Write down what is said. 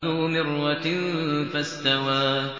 ذُو مِرَّةٍ فَاسْتَوَىٰ